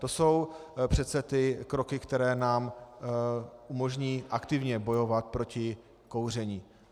To jsou přece ty kroky, které nám umožní aktivně bojovat proti kouření.